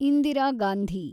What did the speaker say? Indira Gandhi